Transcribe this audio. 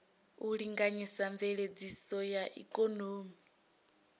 u linganyisa mveledziso ya ikonomi